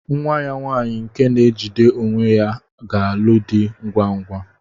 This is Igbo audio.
Nwa ya nwaanyị nke na-ejide onwe ya ga-alụ di ngwa ngwa.